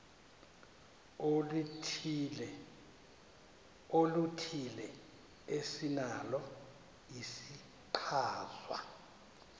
oluthile esinalo isichazwa